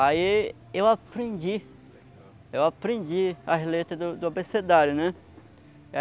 Aí eu aprendi, eu aprendi as letras do do abecedário, né?